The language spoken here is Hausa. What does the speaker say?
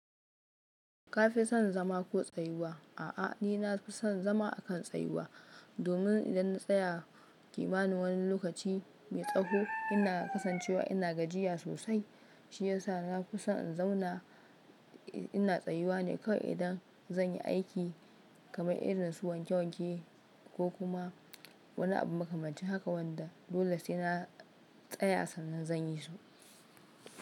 Kafi son zama ko tsayuwa? A'a, ni na fi son zama akan tsayuwa domin idan na tsaya kimanin wani lokaci mai tsaho, ina kasancewa ina gajiya sosai shiyasa na fi son in zauna ina tsayuwa ne kawai idan zan yi aiki kamar irin su wanke wanke ko kuma wani abu makamancin haka wanda dole sai na tsaya sannan zan yi su.